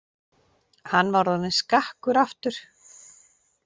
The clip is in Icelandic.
Hann var orðinn skakkur aftur.